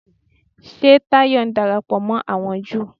Ṣé Táyọ̀ ń darapọ̀ mọ́ àwọn Júù?